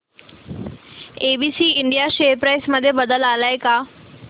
ABC India share price मध्ये बदल आलाय का